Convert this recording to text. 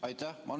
Aitäh!